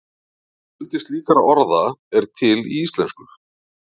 Fjöldi slíkra orða er til í íslensku.